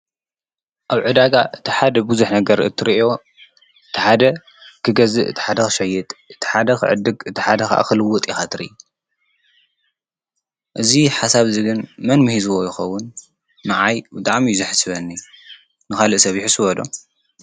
ኣብ ዕዳጋ እቲ ሓደ ብዙሕ ነገር እትርእዮ እቲ ሓደ ክገዝእ፣ እቲ ሓደ ኽሸይጥ፣ እቲ ሓደ ኽዕድግ ፣እቲ ሓደ ኸኣ ኽልጥ ኢኻ ትሪኢ፡፡ እዙይ ሓሳብ አዚ ግን መን ሚሂዝዎ ይኸዉን? ንዓይ ብጣዕሚ እዩ ዘሐስበኒ ንኻልእ ሰብ ይሕስቦ ዶ?